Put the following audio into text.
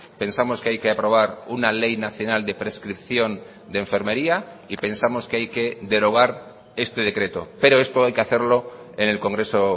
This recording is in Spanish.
pensamos que hay que aprobar una ley nacional de prescripción de enfermería y pensamos que hay que derogar este decreto pero esto hay que hacerlo en el congreso